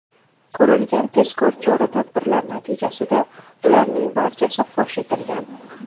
Ko‘rilgan tezkor chora-tadbirlar natijasida ularning barchasi fosh etilgan.